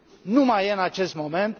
nu mai e în acest moment.